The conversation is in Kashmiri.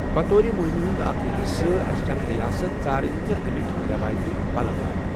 بطور مہمہِ ہُنٛد حصہٕ، اسہِ چُھے اکھ ریاست ژارٕنۍ تہٕ امِیٚکۍ رٮ۪وٲیتی پلو لاگٕنۍ۔